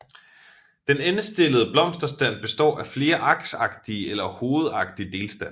Den endestillede blomsterstand består af flere aksagtige eller hovedagtige delstande